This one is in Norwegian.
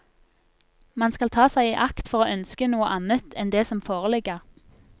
Man skal ta seg i akt for å ønske noe annet enn det som foreligger.